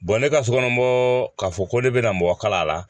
ne ka sokɔnɔ k'a fɔ ko ne bɛna mɔgɔ kala la